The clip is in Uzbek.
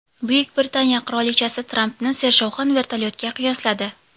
Buyuk Britaniya qirolichasi Trampni sershovqin vertolyotga qiyosladi .